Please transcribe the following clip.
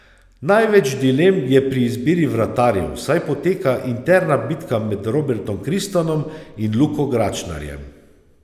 Največ dilem je pri izbiri vratarjev, saj poteka interna bitka med Robertom Kristanom in Luko Gračnarjem.